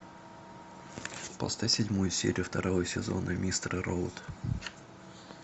поставь седьмую серию второго сезона мистер роут